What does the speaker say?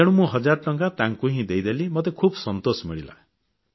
ତେଣୁ ମୁଁ ହଜାର ଟଙ୍କା ତାଙ୍କୁ ହିଁ ଦେଇଦେଲି ମୋତେ ଖୁବ୍ ସନ୍ତୋଷ ମିଳିଲା